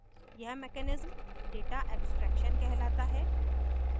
यह mechanism data abstraction कहलाता है